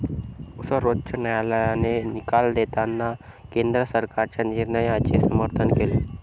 सर्वोच्च न्यायालयाने निकाल देताना केंद्र सरकारच्या निर्णयाचे समर्थन केले.